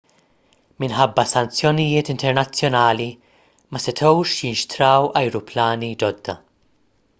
minħabba sanzjonijiet internazzjonali ma setgħux jinxtraw ajruplani ġodda